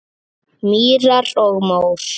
Mýrar og mór